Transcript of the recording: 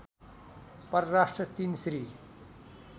परराष्ट्र ३ श्री